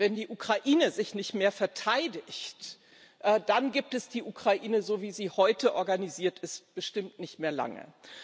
Wenn die Ukraine sich nicht mehr verteidigt, dann gibt es die Ukraine, so wie sie heute organisiert ist, bestimmt nicht mehr lange.